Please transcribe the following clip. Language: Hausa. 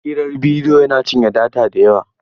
Hirar bidiyo yana cinye data da yawa.